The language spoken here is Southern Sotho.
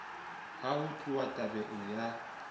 ha ho tluwa tabeng ya